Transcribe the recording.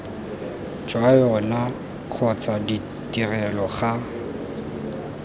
jwa yona kgotsa ditrelo ga